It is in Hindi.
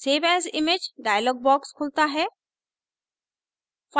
save as image dialog box खुलता है